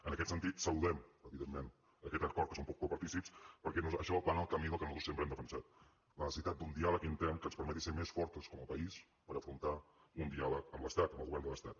en aquest sentit saludem evidentment aquest acord que en som copartícips perquè això va en el camí del que nosaltres sempre hem defensat la necessitat d’un diàleg intern que ens permeti ser més fortes com a país per afrontar un diàleg amb l’estat amb el govern de l’estat